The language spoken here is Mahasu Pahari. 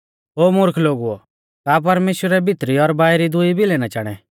ओ मुर्ख लोगुओ का परमेश्‍वरै भितरी और बाइरी दुई भिलै ना चाणै